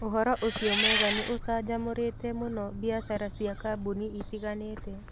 Ũhoro ũcio mwega nĩ ũcanjamũrite mũno biacara cia kambuni itiganĩte.